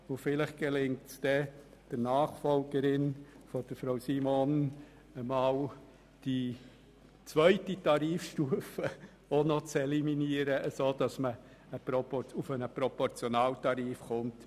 Vielleicht wird es der Nachfolgerin von Regierungsrätin Simon gelingen, auch noch die zweite Tarifstufe zu eliminieren, sodass man auf den international üblichen Proportionaltarif kommt.